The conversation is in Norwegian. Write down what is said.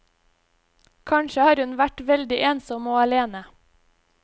Kanskje har hun vært veldig ensom og alene.